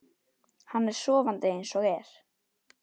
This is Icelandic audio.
Hann er sofandi eins og er.